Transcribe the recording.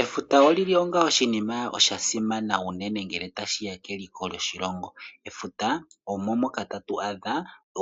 Efuta olili onga oshinima sha simana unene ngele tashiya keliko lyoshilongo . Efuta omo moka tatu adha